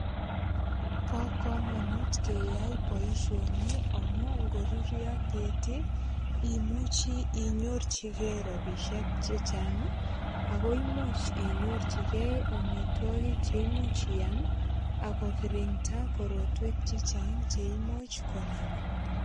Bo kamanut ngeyai boisioni ngamun ngoruruo keti imuchi inyorchige ropisiek che chang ii ago imuch inyorchigei amitwogik che imuch iam ak kogirinda korotwek che chang che imuch konamin.